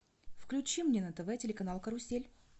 включи мне на тв телеканал карусель